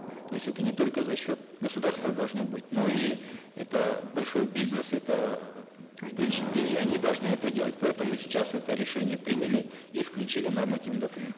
то есть это не только за счет государства должно быть но и это большой бизнес это эээ конечно в принципе они должны это делать поэтому мы сейчас это решение приняли и включили в нормативные документы